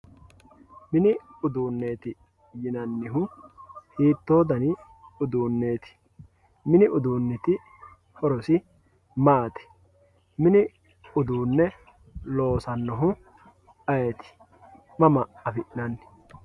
mini uduunneeti yinannihu hiittoo dani uduunneeti mini uduunniti horosi maati mini uduunne loosannohu ayeeti mama afi'nanni.